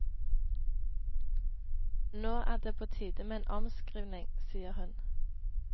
Nå er det på tide med en omskriving, sier hun.